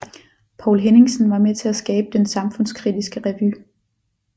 Poul Henningsen var med til at skabe den samfundskritiske revy